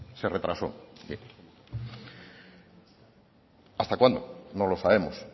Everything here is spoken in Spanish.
se retrasó hasta cuándo no lo sabemos